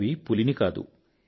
అడవి పులిని కాదు